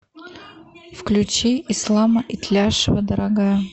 включи ислама итляшева дорогая